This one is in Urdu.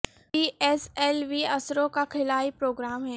پی ایس ایل وی اسرو کا خلائی پروگرام ہے